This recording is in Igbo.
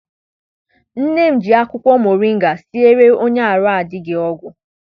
Nne m ji akwụkwọ moringa siere onye arụ adịghị ọgwụ.